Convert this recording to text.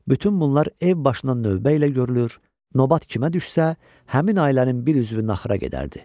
Bütün bunlar ev başına növbə ilə görülür, növbət kimə düşsə, həmin ailənin bir üzvü naxıra gedərdi.